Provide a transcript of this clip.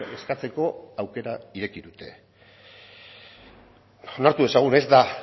eskatzeko aukera ireki dute onartu dezagun